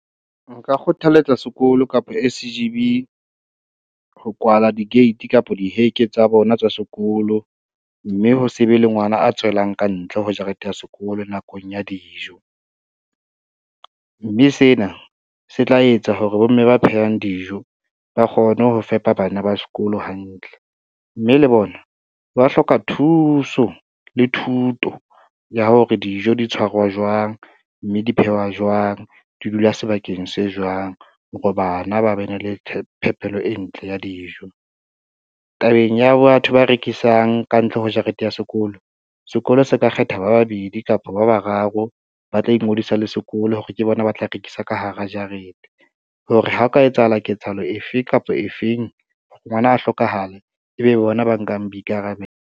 Nka kgothaletsa sekolo kapa S_G_B, ho kwala di-gate kapa di heke tsa bona tsa sekolo, mme ho se be le ngwana a tswelang kantle ho jarete ya sekolo nakong ya dijo. Mme sena se tla etsa hore bomme ba phehang dijo ba kgone ho fepa bana ba sekolo hantle, mme le bona ba hloka thuso le thuto ya hore dijo di tshwarwa jwang, mme di phehwa jwang, di dula sebakeng se jwang hore bana ba bene le phepelo e ntle ya dijo. Tabeng ya batho ba rekisang kantle ho jarete ya sekolo, sekolo se ka kgetha ba babedi kapa ba bararo ba tla ingodisa le sekolo hore ke bona ba tla rekisa ka hara jarete, hore ha o ka etsahala ketsahalo efe kapa efeng, ngwana a hlokahale ebe bona ba nkang boikarabelo.